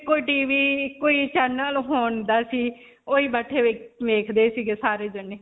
ਇੱਕੋ TV ਇੱਕੋ ਹੀ channel ਹੁੰਦਾ ਸੀ. ਓਹੀ ਬੈਠੇ ਵੇਖਦੇ ਸੀਗੇ ਸਾਰੇ ਜਾਣੇ.